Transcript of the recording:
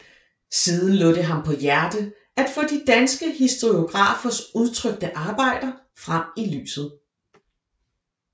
Siden lå det ham på hjerte at få de danske historiografers utrykte arbejder frem i lyset